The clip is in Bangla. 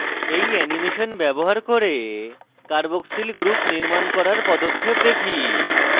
এই অ্যানিমেশন ব্যবহার করে carboxyl group নির্মাণ করার পদক্ষেপ দেখি